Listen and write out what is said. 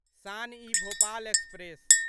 Shaan e Bhopal express